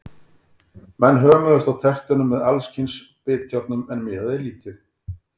Menn hömuðust á tertunum með alls kyns bitjárnum, en miðaði lítið.